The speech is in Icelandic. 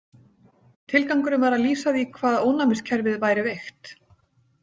Tilgangurinn var að lýsa því hvað ónæmiskerfið væri veikt.